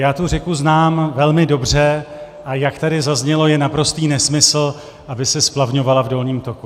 Já tu řeku znám velmi dobře, a jak tady zaznělo, je naprostý nesmysl, aby se splavňovala v dolním toku.